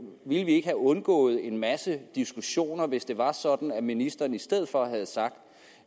vi ikke have undgået en masse diskussioner hvis det var sådan at ministeren i stedet for havde sagt